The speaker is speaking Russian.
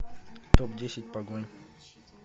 топ десять погонь